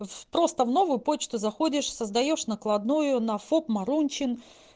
вот просто в новую почту заходишь создаёшь накладную на фоп марунчин